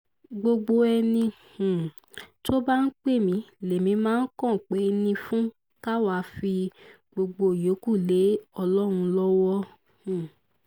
gbogbo ẹni um tó bá ń pè mí lèmi máa kànpeni fún ká wáá fi gbogbo ìyókù lé ọlọ́run lọ́wọ́ um